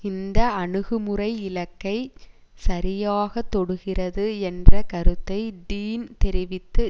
இந்த அணுகுமுறை இலக்கைச் சரியாக தொடுகிறது என்ற கருத்தை டீன் தெரிவித்து